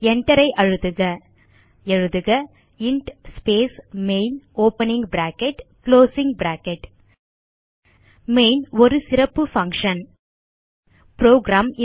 Enter ஐ அழுத்துக எழுதுக int space main opening bracket closing bracket main ஒரு சிறப்பு பங்ஷன் புரோகிராம்